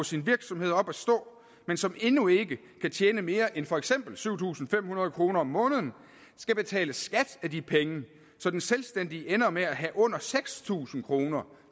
sin virksomhed op at stå men som endnu ikke kan tjene mere end for eksempel syv tusind fem hundrede kroner om måneden skal betale skat af de penge så den selvstændige ender med at have under seks tusind kroner